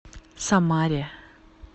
самаре